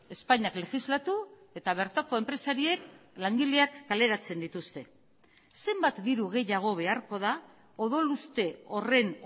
espainiak legislatu eta bertako enpresariek langileak kaleratzen dituzte zenbat diru gehiago beharko da odoluste horren